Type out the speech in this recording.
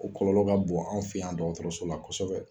O kɔlɔlɔ ka bon an fe yan dɔgɔtɔrɔso la kɔsɔbɛ.